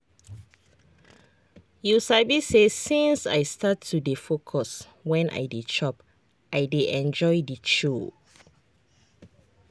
you sabi say since i start to dey focus when i dey chop i dey enjoy the chow.